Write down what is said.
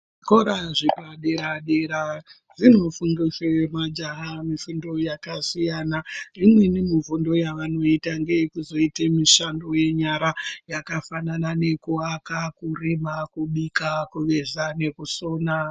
Zvikora zvepadera zvinofundisa majaha mifundo yakasiyana. Imweni mifundo yavanoita ndeyekuzoita mifundo yenyara yakafanana nekuaka, kurima, kubika, kuveza nekusona.